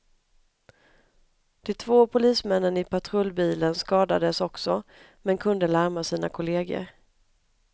De två polismännen i patrullbilen skadades också, men kunde larma sina kolleger.